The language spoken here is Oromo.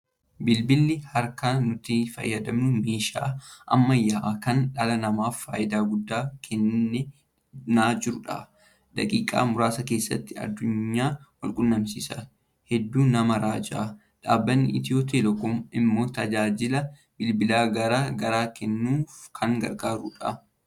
Bilbilli harkaa nuti fayyadamnu meeshaa ammayyaa kan dhala namaaf faayidaa guddaa kennaa jirudha. Daqiiqaa muraasa keessatti addunyaa wal quunasiisa. Hedduu nama raaja! Dhabbanni Itiyoo Telekoom immoo tajaajila bilbilaa gara garaa kennuuf kan gargaarudha.